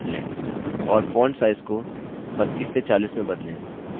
और font size को 32 से 40 में बदलें